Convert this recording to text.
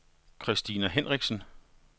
Christina Hinrichsen